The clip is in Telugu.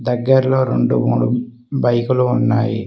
దగ్గర్లో రెండు మూడు బైకులు ఉన్నాయి.